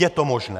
Je to možné!